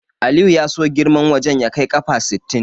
Aliyu ya so girman wajen ya kai ƙafa sittin.